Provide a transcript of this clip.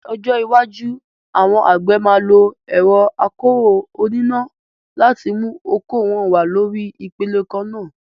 Ní ọjọ́ iwájú, àwọn àgbẹ̀ máa lo ẹ̀rọ akọ́rọ́ oníná láti mú oko wọn wá lórí ipele kan náà.